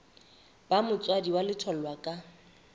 ba motswadi wa letholwa ka